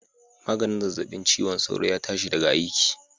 Maganin zazzabin ciwon sauron ya tashi daga aiki